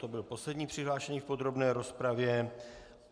To byl poslední přihlášený v podrobné rozpravě.